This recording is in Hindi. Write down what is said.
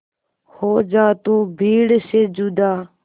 हो जा तू भीड़ से जुदा